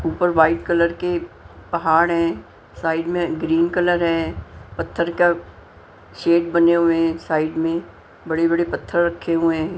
ऊपर white colour के पहाड़ हैं साइड में ग्रीन कलर है पत्थर का शेड बने हुए हैं साइड में बड़े-बड़े पत्थर रखे हुए हैं।